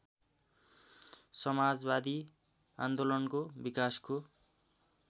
समाजवादी आन्दोलनको विकासको